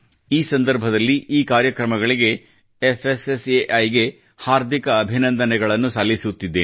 ಈ ಸಂದರ್ಭದಲ್ಲಿ ಈ ಕಾರ್ಯಕ್ರಮಗಳಿಗೆ ಫ್ಸ್ಸೈ ಗೆ ಹಾರ್ದಿಕ ಅಭಿನಂದನೆಗಳನ್ನು ಸಲ್ಲಿಸುತ್ತಿದ್ದೇನೆ